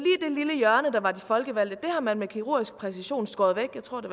det lille hjørne der var de folkevalgte har man med kirurgisk præcision skåret væk jeg tror det